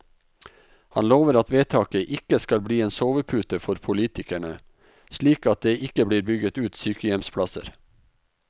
Han lover at vedtaket ikke skal bli en sovepute for politikerne, slik at det ikke blir bygget ut sykehjemsplasser.